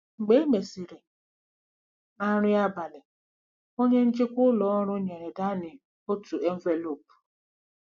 Mgbe e mesịrị, na nri abalị, onye njikwa ụlọ ọrụ nyere Danny otu envelopu.